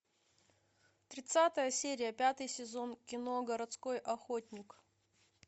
тридцатая серия пятый сезон кино городской охотник